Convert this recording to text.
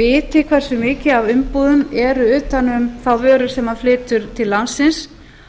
viti hversu mikið af umbúðum eru utan um þá vöru sem hann flytur til landsins